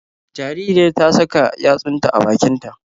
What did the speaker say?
Jaririyar ta saka yatsunta a bakin ta